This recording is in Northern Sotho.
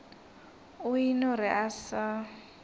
o eno re a sa